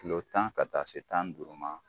Kulo tan ka taa se tan ni duuru ma.